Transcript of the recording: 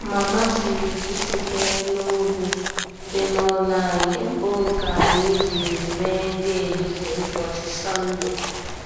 Mama siri ji sitere n'ubu dị n'ụlọ anyị bu nke anyị jiri mee nri ehihie ụbọchị Sọnde.